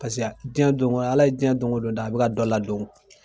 jɛn don Ala ye cɛn don o don da, a bi ka dɔ la don.